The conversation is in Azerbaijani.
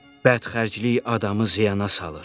Bədxərclik adamı ziyana salır.